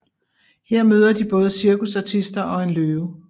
Her møder de både cirkusartister og en løve